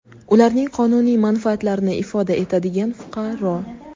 ularning qonuniy manfaatlarini ifoda etadigan fuqaro;.